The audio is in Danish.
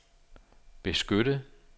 beskytte